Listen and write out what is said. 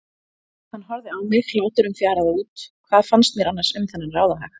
Hann horfði á mig, hláturinn fjaraði út, hvað fannst mér annars um þennan ráðahag?